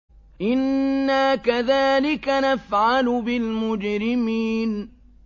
إِنَّا كَذَٰلِكَ نَفْعَلُ بِالْمُجْرِمِينَ